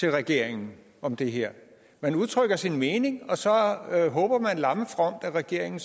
til regeringen om det her man udtrykker sin mening og så håber man lammefromt at regeringen